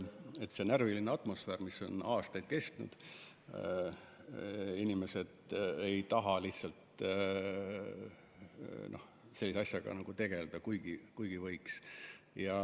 Aga see närviline atmosfäär on juba aastaid kestnud ja inimesed lihtsalt ei taha enam sellise asjaga tegeleda, kuigi võiks.